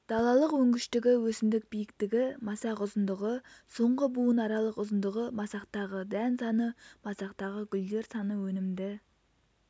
далалық өнгіштігі өсімдік биіктігі масақ ұзындығы соңғы буынаралық ұзындығы масақтағы дән саны масақтағы гүлдер саны өнімді